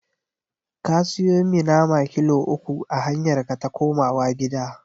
Ka siyo mi nama kilo uku a hanyarka ta komawa gida.